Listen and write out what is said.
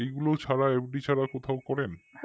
এগুলো ছাড়া FD ছাড়া কোথাও করেন